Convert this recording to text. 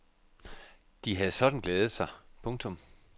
De havde sådan glædet sig. punktum